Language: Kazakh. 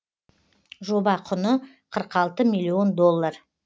жоба құны қырық алты миллион доллар